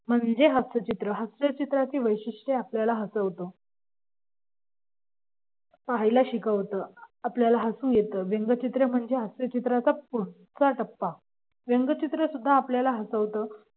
म्हणजे हास्यचित्र हास्य चित्राचे वैशिष्ट्ये आपल्याला हसवतं पाहायला शिकवता आपल्याला हसू येत व्यंगचित्र म्हणजे हास्य चित्राचा पुढचा टप्पा व्यंगचित्र सुद्धा आपल्याला हसवतं.